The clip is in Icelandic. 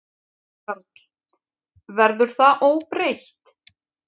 Karl: Verður það óbreytt?